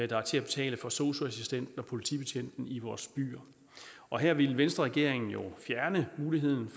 der er til at betale for sosu assistenten og politibetjenten i vores byer og her ville venstreregeringen jo fjerne muligheden